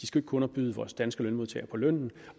skal kunne underbyde danske lønmodtagere på lønnen